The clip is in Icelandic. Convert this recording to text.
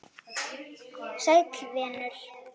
Sæll venur!